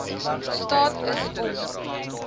staat is om